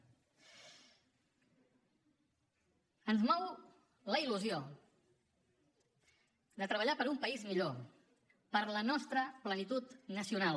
ens mou la il·lusió de treballar per un país millor per la nostra plenitud nacional